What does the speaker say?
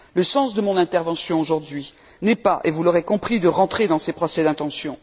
Le sens de mon intervention n'est pas, et vous l'aurez compris, de rentrer dans ces procès d'intention.